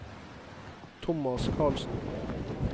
Tomas Karlsen